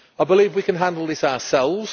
I believe we can handle this ourselves.